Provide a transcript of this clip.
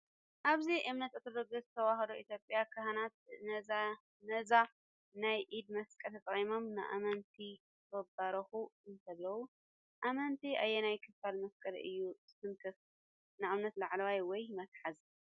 ኣብ እምነት ኦርቶዶክስ ተዋህዶ ኢትዮጵያ ካህናት ነዚ ናይ ኢድ መስቀል ተጠቒሞም ንኣመንቲ ክባርኹ እንከለዉ ኣመንቲ ኣየናይ ክፋል መስቀል እዩ ዝትንክፍ (ንኣብነት ላዕለዋይ ወይ መትሓዚ)?